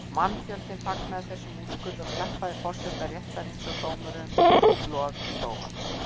Mannfjöldinn fagnaði þessum úrskurði og klappaði forseta réttarins og dómurum lof í lófa.